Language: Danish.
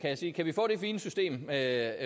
der er